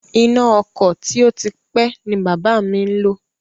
Iná ọkọ̀ tí ó ti pé ni bàbá mi ń lò